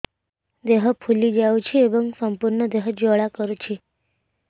ଦେହ ଫୁଲି ଯାଉଛି ଏବଂ ସମ୍ପୂର୍ଣ୍ଣ ଦେହ ଜ୍ୱାଳା କରୁଛି